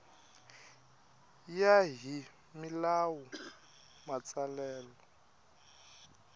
ya hi milawu ya matsalelo